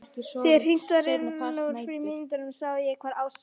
Þegar hringt var inn úr frímínútunum sá ég hvar Ása og